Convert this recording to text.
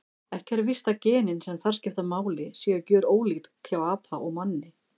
Ekki er víst að genin sem þar skipta máli séu gjörólík hjá apa og manni.